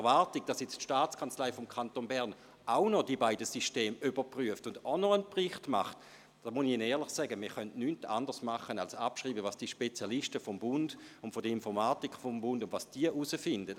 Zur Erwartung, dass die Staatskanzlei des Kantons Bern auch noch die beiden Systeme überprüft und einen Bericht verfasst, muss ich Ihnen sagen, dass wir nichts anderes tun können, als abzuschreiben, was die Spezialisten des Bundes und der Informatik des Bundes herausfinden.